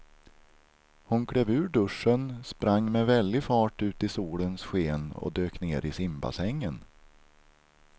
Hon klev ur duschen, sprang med väldig fart ut i solens sken och dök ner i simbassängen.